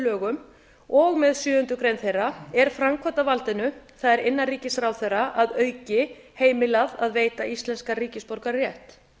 lögum og með sjöundu greinar þeirra er framkvæmdarvaldinu það er innanríkisráðherra að auki heimilað að veita íslenskan ríkisborgararétt